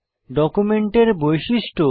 ডকুমেন্টের বৈশিষ্ট্য